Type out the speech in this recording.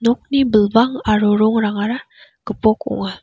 nokni bilbang aro rongrangara gipok ong·a.